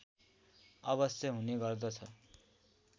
अवश्य हुने गर्दछ